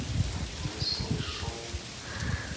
не слышу